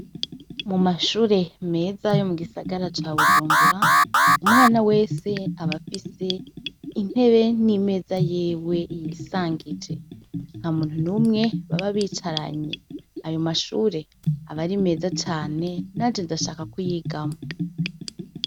Mu mashure meza yo mu gisagara ca Bujumbura, umwana wese abafise intebe n'imeza yiwe yisangije; nta muntu numwe baba bicaranye. Ayo mashure aba ari meza cane nanje ndashaka kuyigamwo.